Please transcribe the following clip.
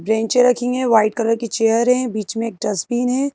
Plane chair रखेंगे white colour की chair है बीच में एक डस्टबीन है।